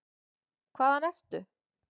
Hvaðan ertu?